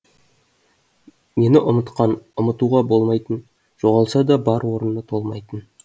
мені ұмытқан ұмытуға болмайтын жоғалса да бар орыны толмайтын